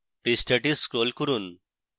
পৃষ্ঠাটি scroll করুন